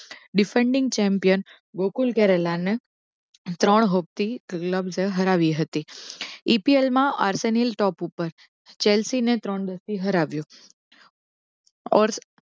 Defending champion Gokul કેરેલાને ત્રણ hope થી લપસે હરાવી હતી EPL માં આર્સેનિલ top ઉપર જેલસીને ત્રણ દસ થી હરાવ્યો